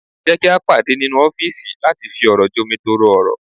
Jẹ́ kí a pàdé ní nínú ọ́fìsì láti fi ọ̀rọ̀ jomitoro ọ̀rọ̀